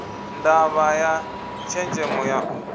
ndavha ya tshenzemo ya u